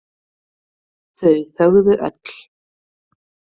Þau þögðu öll.